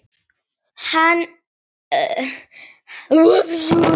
Hvað er eftir fyrir mig?